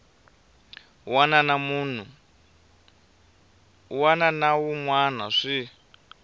wana na wun wana swi